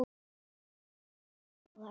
hverra ráða.